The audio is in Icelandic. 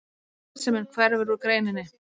Arðsemin hverfur úr greininni